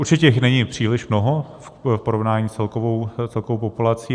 Určitě jich není příliš mnoho v porovnání s celkovou populací.